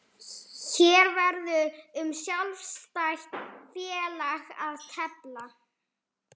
Hér verður um sjálfstætt félag að tefla.